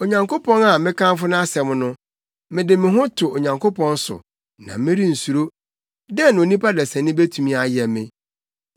Onyankopɔn a mekamfo nʼasɛm no, mede me ho to Onyankopɔn so, na merensuro. Dɛn na onipa desani betumi ayɛ me?